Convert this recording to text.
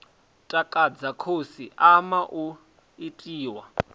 takadza khasi ama u itiwa